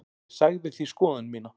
Ég sagði því skoðun mína.